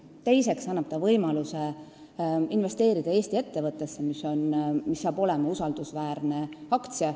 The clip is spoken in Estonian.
Teiseks annab see samm võimaluse investeerida Eesti ettevõttesse, mille aktsia on usaldusväärne.